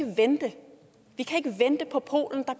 vente vi kan ikke vente på polen der